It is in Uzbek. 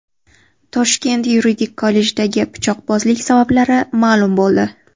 Toshkent yuridik kollejidagi pichoqbozlik sabablari ma’lum bo‘ldi .